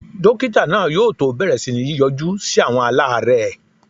Dókítà náà yóò tó bẹ̀rẹ̀ sí ní yọjú sí àwọn aláàrẹ́ẹ̀.